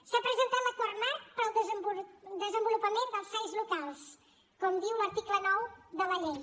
s’ha presentat l’acord marc per al desenvolupament dels sai locals com diu l’article nou de la llei